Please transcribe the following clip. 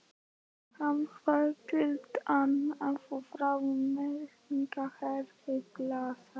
Hann hafði gildnað og þreknað og eirrautt hárið glansaði.